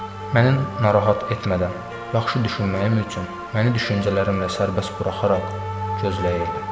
Məni narahat etmədən, yaxşı düşünməyim üçün məni düşüncələrimlə sərbəst buraxaraq gözləyirdi.